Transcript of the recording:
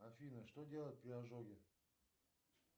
афина что делать при ожоге